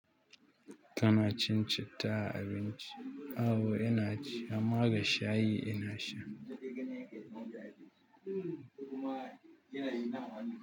Kana cin citta a abinci? Au ina ci, amma ga shayi ina sha.